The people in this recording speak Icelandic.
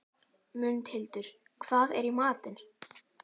Mundhildur, hvað er í matinn?